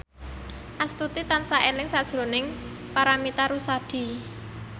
Astuti tansah eling sakjroning Paramitha Rusady